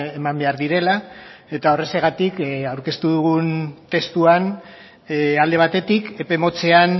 eman behar direla eta horrexegatik aurkeztu dugun testuan alde batetik epe motzean